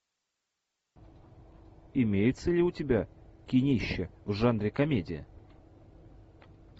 имеется ли у тебя кинище в жанре комедия